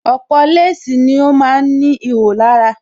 Ọ̀pọ̀ léèsì ni ó ma ń ní ihò lára